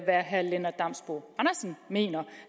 herre lennart damsbo andersen mener